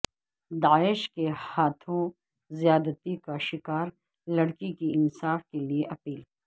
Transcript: داعش کے ہاتھوں زیادتی کا شکار لڑکی کی انصاف کے لیے اپیل